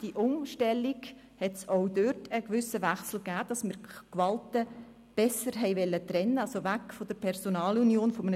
Diese Umstellung ergab einen gewissen Wechsel, sodass man die Gewalten besser trennen kann, das heisst weg von der Personalunion des Staatsschreibers.